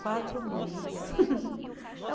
Quatro mães.